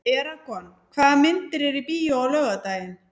Eragon, hvaða myndir eru í bíó á laugardaginn?